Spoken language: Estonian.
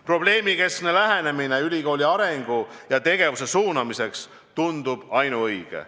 Probleemikeskne lähenemine ülikooli arengu ja tegevuse suunamiseks tundub ainuõige.